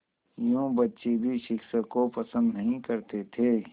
यूँ बच्चे भी शिक्षक को पसंद नहीं करते थे